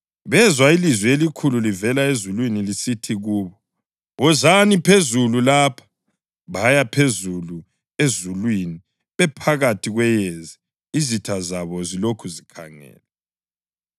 Bezwa ilizwi elikhulu livela ezulwini lisithi kubo, “Wozani phezulu lapha.” Baya phezulu ezulwini bephakathi kweyezi izitha zabo zilokhu zikhangele.